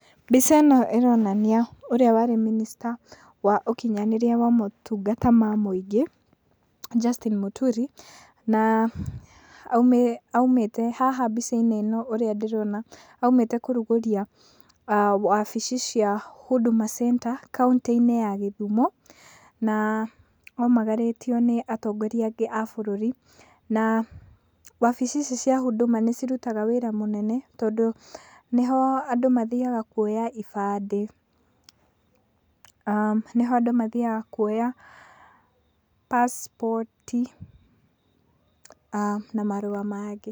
Mbica ĩno ĩronania ũrĩa warĩ minister wa ũkinyanĩria wa motungata ma mũingĩ Justin Mũturi aumĩte haha mbica-inĩ ĩno ũrĩa ndĩrona aumĩte kũrugũria wabici cia Huduma Center kauntĩ-inĩ ya Gĩthumo na aumagarĩtio nĩ atongoroia angĩ a bũrũrĩ na wabici ici cia Huduma nĩ cirutaga wĩra mũnene tondũ nĩho andũ mathiaga kuoya ibandĩ, nĩho andũ mathiaga kuoya passport na marũa mangĩ.